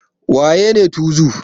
Wa yene tuzu?